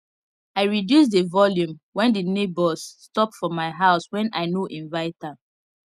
i reduce the volume when the neighbors stop for my house when i no invite am